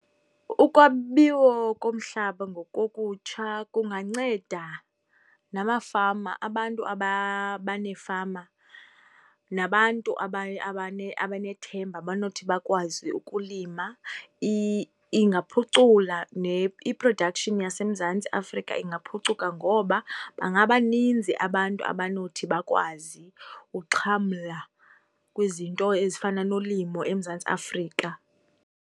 Ukwabiwa komhlaba ngokokutsha kunganceda namafama, abantu abaneefama nabantu abanethemba, abanothi bakwazi ukulima. Ingaphucula i-production yaseMazantsi Afrika ingaphucuka ngoba bangabaninzi abantu abonothi bakwazi uxhamla kwizinto ezifana nolimo eMzantsi Afrika.